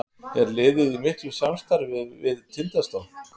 Er liðið í miklu samstarfi við Tindastól?